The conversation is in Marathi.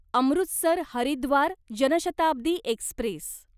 अमृतसर हरिद्वार जनशताब्दी एक्स्प्रेस